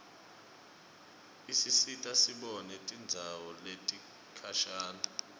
isisita sibone tindzawo letikhashane